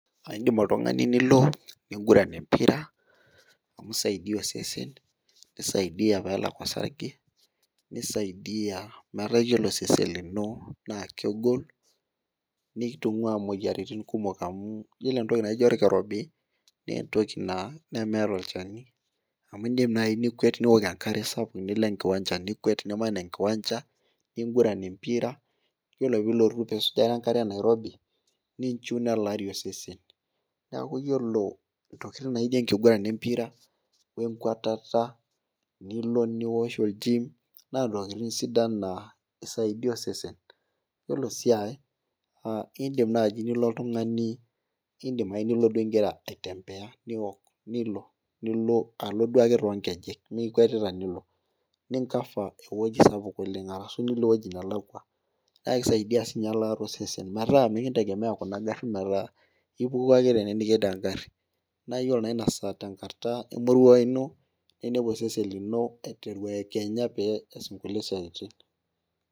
Idim oltungani Niko ning'uran empira, amu isaidia osesen, nisaidia peelak osarge, nisaidia metaa iyiolo osesen lino naa kegol, nitungua imoyiaritin kumok amu iyiolo entoki naijo olkirobi, naa entoki naa nemeeta olchani, amu idim naaji, nikuet Niko enkare sapuk nilo enkiwancha nikwet, niman enkiwancha, ning'uran empira. iyiolo pee ilotu nisujare enkare Nairobi, ninchiu nelaari osesen. neeku iyiolo ntokitin naijo enkiguran empira. Enkwetata, Niko nikwet, niosh ol gym naa ntokitin sidan naa isaidia osesen. iyiolo sii ae naa idim naaji nilo oltungani, idim ake nilo duo igira aitembea nilo nilo alo duake too nkejek. ime ikwetita duo.ni cover ewueji sapuk oleng. alashu nilo ewueji nelakua. naa kisaidia sii ninye ekaata osesen. metaa mikintegemea Kuna garin naata apa ipuku ake tene nijing egari, naayiolo naa Ina saa tenkata emoruao ino, ninepu osesen lino eekenya pee EE's kulie siatin.